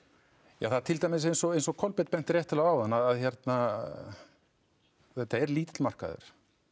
ja það er til dæmis eins og eins og Kolbeinn benti réttilega á áðan að þetta er lítill markaður